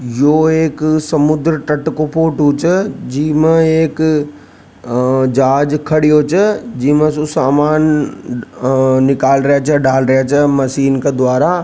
यों एक समुद्र तट को फोटो छ जी मैं एक जहाज खड़ी हो जाए सामान निकाल रा जा डाल रा जा मशीन क द्वारा।